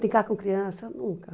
Brincar com criança, nunca.